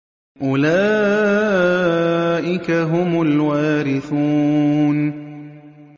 أُولَٰئِكَ هُمُ الْوَارِثُونَ